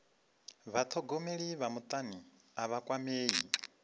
vhathogomeli vha mutani a vha kwamei